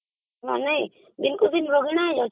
ମାନେ ଏମାନେ ରୋଗୀଣା ହେଇଯାଉଛନ୍ତି